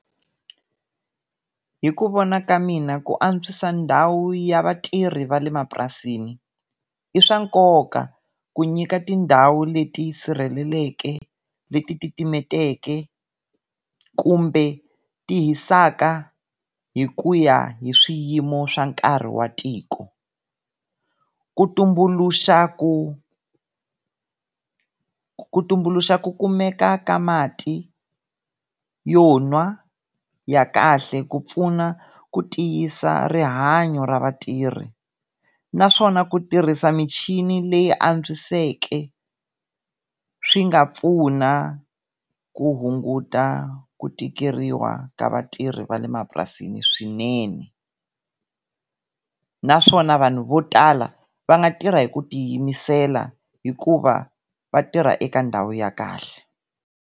Hi ku vona ka mina ku antswisa ndhawu ya vatirhi va le mapurasini, i swa nkoka ku nyika tindhawu leti ti sirhelelekeke leti titimeteke kumbe ti hisaka hi ku ya hi swiyimo swa nkarhi wa tiko. Ku tumbuluxa ku, ku tumbuluxa ku kumeka ka mati yo nwa ya kahle ku pfuna ku tiyisa rihanyo ra vatirhi. Naswona ku tirhisa michini leyi yi antswiseke swi nga pfuna ku hunguta ku tikeriwa ka vatirhi va le mapurasini swinene naswona vanhu vo tala va nga tirha hi ku tiyimisela hikuva vatirha eka ndhawu ya kahle.